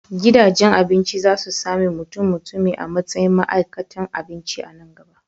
Gidajen abinci za su sami mutummutumi a matsayin ma'aikatan abinci a nan gaba.